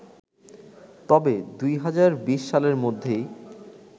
তবে ২০২০ সালের মধ্যেই